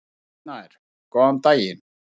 Rúnar Snær: Góðan daginn.